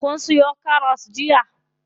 Kun siyo karas jiya?